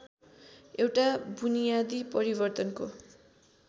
एउटा बुनियादी परिवर्तनको